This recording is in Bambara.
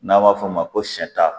N'an b'a f'o ma ko sɛ ta